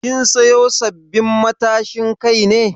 Kin siyo sabbabin matashin Kai ne?